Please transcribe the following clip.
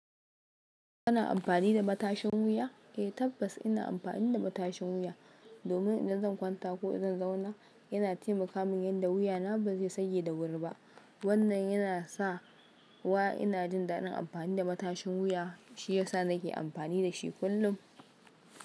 Kana amfani da matashin wuya? Eh tabbas ina amfani da matashin wuya domin idan zan kwanta ko zan zauna yana taimaka min yanda wuya na ba zai sage da wuri ba. Wannan yana sa wa ina jin daɗin amfani da matashin wuya shiyasa nake amfani da shi kullum.